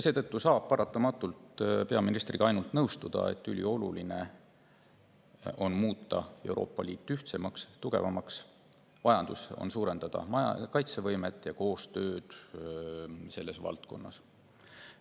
Seetõttu saab peaministriga ainult nõustuda, et ülioluline on muuta Euroopa Liit ühtsemaks ja tugevamaks, on vaja suurendada kaitsevõimet ja koostööd selles valdkonnas.